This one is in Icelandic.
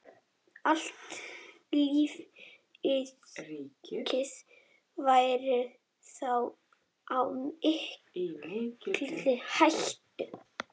Allt lífríkið væri þá í mikilli hættu.